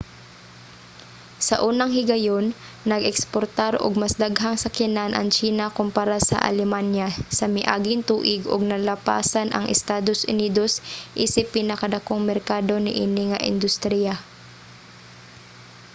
sa unang higayon nag-eksportar og mas daghang sakyanan ang tsina kompara sa alemanya sa miaging tuig ug nalapasan ang estados unidos isip pinakadakong merkado niini nga industriya